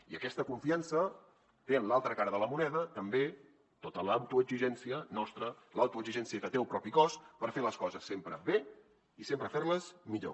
i aquesta confiança té en l’altra cara de la moneda també tota l’autoexigència nostra l’autoexigència que té el propi cos per fer les coses sempre bé i sempre fer les millor